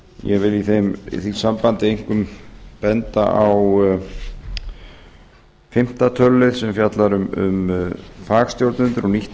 ég vil í því sambandi einkum benda á fimmta tölulið sem fjallar um fagstjórnendur og nýtt